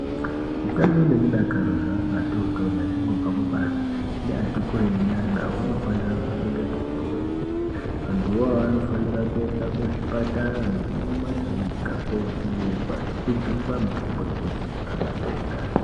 Utano nemudakaro zveana atotori achangobva kubarwa neati kureyi nyana unofanira kuchengetedzwa kwemene, anthu awawo anofanira kuenda kuzvipatara nekumakirinika kovhenekwa nekujungwa mitombo yekudziyirira matenda.